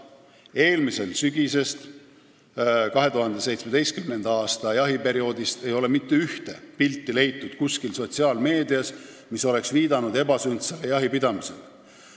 Eelmise aasta sügisest, 2017. aasta jahiperioodist peale ei ole sotsiaalmeedias leitud mitte ühtegi pilti, mis oleks viidanud ebasündsale jahipidamisele.